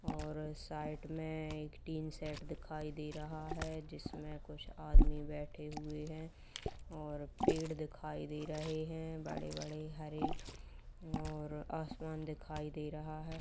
और साइड में एक टीन शेड दिखाई दे रहा है जिसमें कुछ आदमी बैठे हुए है और पड़े दिखाई दे रहे है बड़े-बड़े हरे और आसमान दिखाई दे रहा है।